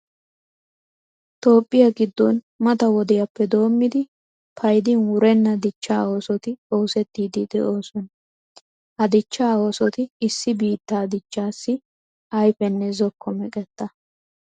Toophphiya giddon mata wodiyappe doommidi paying wurenna dichchaa oosoti oosettiiddi de'oosona. Ha dichchaa oosoti issi biittaa dichchaassi ayfenne zokko meqetta!